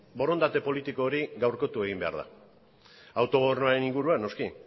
borondate politiko hori gaurkotu egin behar da autogobernuaren inguruan noski